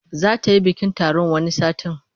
Za ta yi bikin taron wani satin.